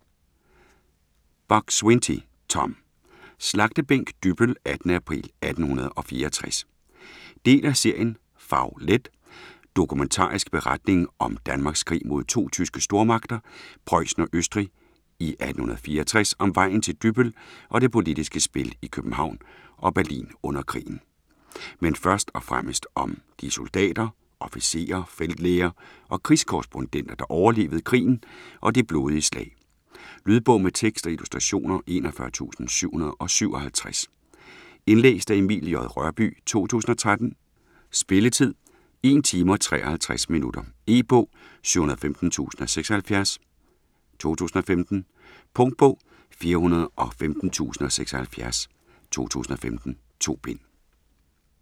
Buk-Swienty, Tom: Slagtebænk Dybbøl: 18. april 1864 Del af serien Fag-let. Dokumentarisk beretning om Danmarks krig mod to tyske stormagter, Prøjsen og Østrig i 1864 - om vejen til Dybbøl og det politiske spil i København og Berlin under krigen. Men først og fremmest om de soldater, officerer, feltlæger og krigskorrespondenter, der oplevede krigen og det blodige slag. Lydbog med tekst og illustrationer 41757 Indlæst af Emil J. Rørbye, 2013. Spilletid: 1 timer, 53 minutter. E-bog 715076 2015. Punktbog 415076 2015. 2 bind.